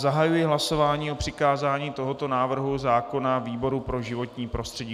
Zahajuji hlasování o přikázání tohoto návrhu zákona výboru pro životní prostředí.